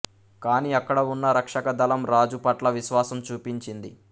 కానీ అక్కడ ఉన్న రక్షక దళం రాజు పట్ల విశ్వాసం చూపించింది